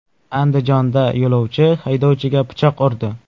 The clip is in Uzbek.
Andijonda yo‘lovchi haydovchiga pichoq urdi.